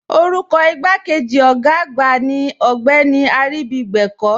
Orúkọ igbàkéjì ogá àgbà ní Ogbeni Aribígbẹ̀kọ̀.